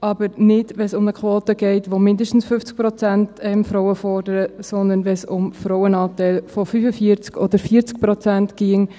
aber wenn es um eine Quote geht, die «mindestens 50 Prozent» Frauen fordert, sondern wenn es um einen Frauenanteil von 45 oder 40 Prozent ginge.